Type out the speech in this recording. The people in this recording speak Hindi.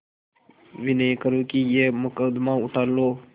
विनय करुँ कि यह मुकदमा उठा लो